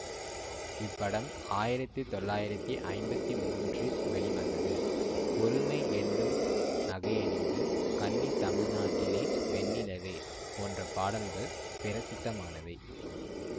இப்படம் ஆயிரத்தி தொள்ளாயிரத்தி ஐம்பத்தி மூன்றில் வெளிவந்தது பொறுமை யென்னும் நகையணிந்து கன்னித் தமிழ்நாட்டிலே வெண்ணிலவே போன்ற பாடல்கள் பிரசித்தமானவை